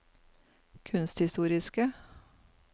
kunsthistoriske